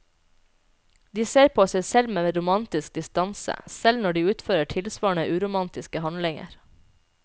De ser på seg selv med romantisk distanse, selv når de utfører tilsvarende uromantiske handlinger.